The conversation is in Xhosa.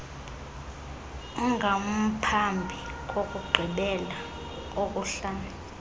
ongamphambi kokugqibela kokuhlala